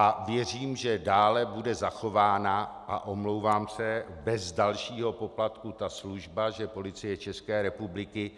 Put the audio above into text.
A věřím, že dále bude zachována, a omlouvám se, bez dalšího poplatku, ta služba, že Policie České republiky